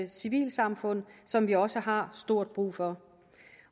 civilsamfund som vi også har stort brug for